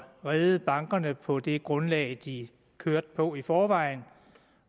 redde bankerne på det grundlag de kørte på i forvejen